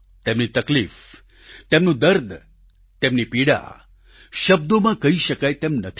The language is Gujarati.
તેમની તકલીફ તેમનું દર્દ તેમની પીડા શબ્દોમાં કહી શકાય તેમ નથી